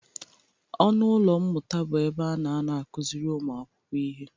Ọnụ ụlọ mmụta bụ ebe a na-anọ akụzịrị ụmụakwụkwọ ihe.